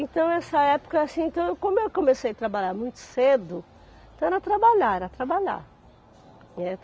Então, essa época, assim, então como eu comecei a trabalhar muito cedo, então era trabalhar, era trabalhar, né.